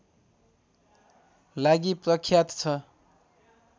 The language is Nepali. लागि प्रख्यात छ